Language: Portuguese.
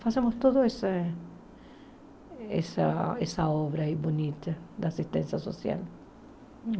Fazemos toda essa essa essa obra aí bonita da assistência social.